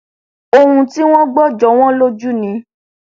ohun tí wọn gbọ jọ wọn lójú ni